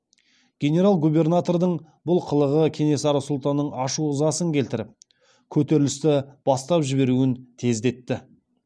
генерал губернатордың бұл қылығы кенесары сұлтанның ашу ызасын келтіріп көтерілісті бастап жіберуін тездетті